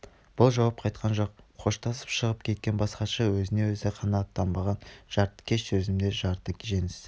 бұл жауап қатқан жоқ қоштасып шығып кеткен бас хатшы өзіне өзі қанағаттанбаған жартыкеш сезімде қалды жеңіс